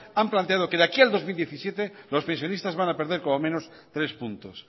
han planteado que de aquí al dos mil diecisiete los pensionistas van a perder como menos tres puntos